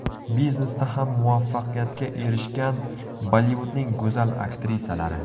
Biznesda ham muvaffaqiyatga erishgan Bollivudning go‘zal aktrisalari .